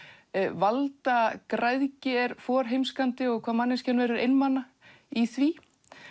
valdagræðgi er forheimskandi og hvað manneskjan verður einmana í því